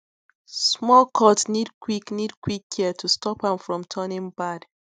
small cut need quick need quick care to stop am from turning bad